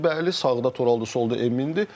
Beşlidir, bəli, sağda Toraldır, solda Emindir.